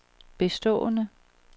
bestående